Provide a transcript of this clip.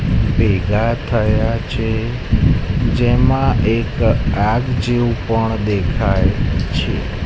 ભેગા થયા છે જેમા એક આગ જેવુ પણ દેખાય છે.